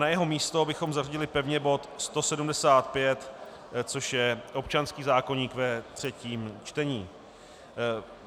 Na jeho místo bychom zařadili pevně bod 175, což je občanský zákoník ve třetím čtení.